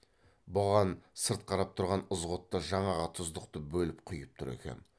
бұған сырт қарап тұрған ызғұтты жаңағы тұздықты бөліп құйып тұр екен